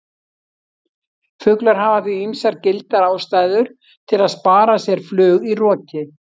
Fuglar hafa því ýmsar gildar ástæður til að spara sér flug í roki!